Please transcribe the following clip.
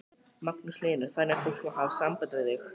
Magnús Hlynur: Þannig að fólk má hafa samband við þig?